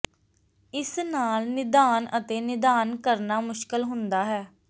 ਇਸ ਨਾਲ ਨਿਦਾਨ ਅਤੇ ਨਿਦਾਨ ਕਰਨਾ ਮੁਸ਼ਕਲ ਹੁੰਦਾ ਹੈ